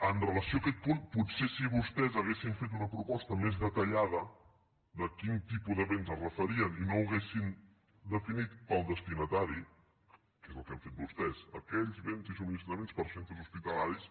amb relació a aquest punt potser si vostès haguessin fet una proposta més detallada de a quin tipus de béns es referien i no ho haguessin definit pel destinatari que és el que han fet vostès aquells béns i subministraments per a cen·tres hospitalaris